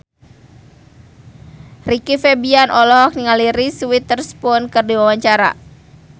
Rizky Febian olohok ningali Reese Witherspoon keur diwawancara